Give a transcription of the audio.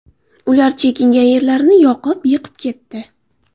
Ular chekingan yerlarini yoqib, yiqib ketdi.